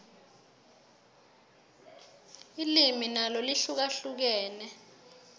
ilimi nalo lihlukahlukene